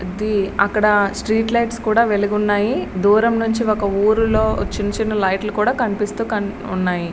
ఇది అక్కడ street light కూడా వెలిగి ఉన్నాయి. దూరం ఉంచి ఒక ఊరిలో చిన్న చిన్న లైట్లు కూడా కనిపిస్తూ ఉన్నాయి.